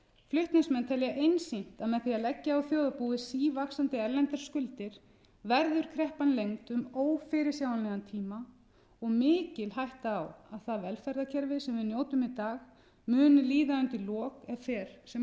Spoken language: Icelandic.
flutningsmenn telja einsýnt að með því að leggja á þjóðarbúið sívaxandi erlendar skuldir verður kreppan lengd um ófyrirsjáanlegan tíma og mikil hætta á að það velferðarkerfi sem við njótum í dag muni líða undir lok ef fer sem